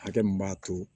Hakɛ min b'a to